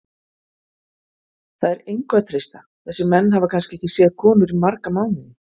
Það er engu að treysta, þessir menn hafa kannski ekki séð konur í marga mánuði.